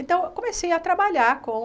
Então, eu comecei a trabalhar com...